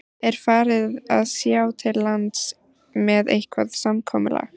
Er farið að sjá til lands með eitthvað samkomulag?